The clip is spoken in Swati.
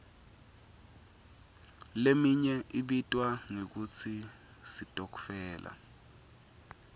leminye ibitwa ngekutsi sitokfela